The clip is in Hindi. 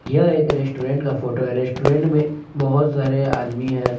यह एक रेस्टोरेंट का फोटो है। रेस्टोरेंट में बहुत सारे आदमी है।